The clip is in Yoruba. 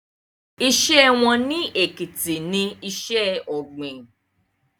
Iṣẹ́ wọn ní Èkìtì ní iṣẹ́ ọ̀gbìn